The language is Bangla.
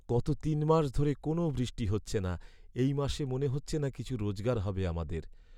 গত তিন মাস ধরে কোনও বৃষ্টি হচ্ছে না। এই মাসে মনে হচ্ছে না কিছু রোজগার হবে আমাদের।